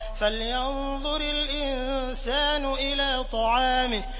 فَلْيَنظُرِ الْإِنسَانُ إِلَىٰ طَعَامِهِ